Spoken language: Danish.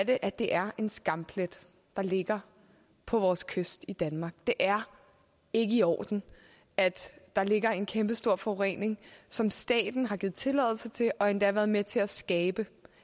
at det er en skamplet der ligger på vores kyst i danmark det er ikke i orden at der ligger en kæmpestor forurening som staten har givet tilladelse til og endda været med til at skabe